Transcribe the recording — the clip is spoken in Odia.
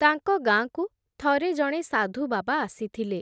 ତାଙ୍କ ଗାଁକୁ, ଥରେ ଜଣେ ସାଧୁବାବା ଆସିଥିଲେ ।